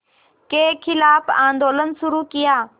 के ख़िलाफ़ आंदोलन शुरू किया